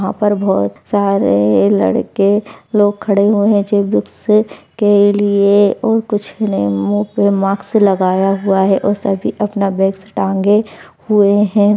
यहाँ पर बहुत सारे लड़के लोग खड़े हुए हैं जो बुक्स के लिए कुछ ने मुंह पे माक्स लगाया हुआ हैं सभी अपना बैग्स टांगे हुए हैं।